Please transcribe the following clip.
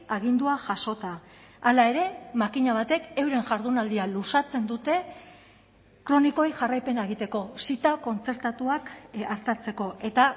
agindua jasota hala ere makina batek euren jardunaldia luzatzen dute kronikoei jarraipena egiteko zita kontzertatuak artatzeko eta